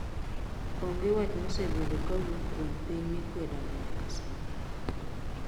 Onge wach mosebedo kuwuok kuom piny mikwedo no nyaka sai